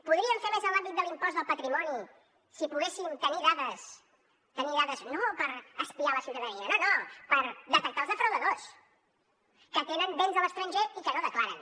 podríem fer més en l’àmbit de l’impost del patrimoni si poguéssim tenir dades no per espiar la ciutadania no no per detectar els defraudadors que tenen béns a l’estranger i que no declaren